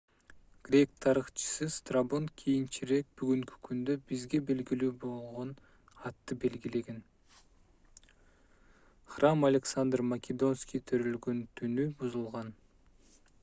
грек тарыхчысы страбон кийинчерээк бүгүнкү күндө бизге белгилүү болгон атты белгилеген храм александр македонский төрөлгөн түнү бузулган